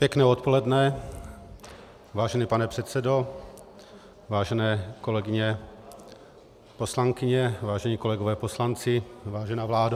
Pěkné odpoledne, vážený pane předsedo, vážené kolegyně poslankyně, vážení kolegové poslanci, vážená vládo.